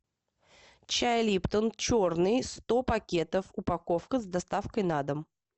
чай липтон черный сто пакетов упаковка с доставкой на дом